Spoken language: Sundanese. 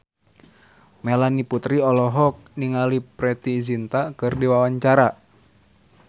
Melanie Putri olohok ningali Preity Zinta keur diwawancara